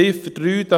Ziffer 3